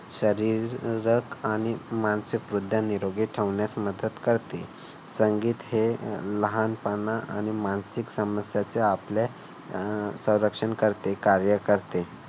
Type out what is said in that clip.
शारीरिक आणि मानसिकरीत्या निरोगी ठेवण्यास मदत करते. संगीत हे लहानपणा आणि मानसिक समस्यांचे आपल्या अह संरक्षण करते. कार्य करते.